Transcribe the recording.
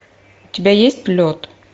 у тебя есть лед